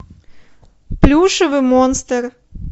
плюшевый монстр